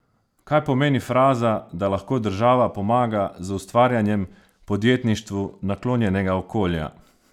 Kaj pomeni fraza, da lahko država pomaga z ustvarjanjem podjetništvu naklonjenega okolja?